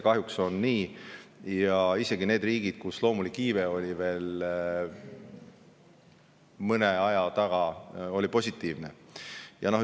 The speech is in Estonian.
Kahjuks on nii, et sellega on kimpus isegi need riigid, kus loomulik iive oli veel mõne aja positiivne.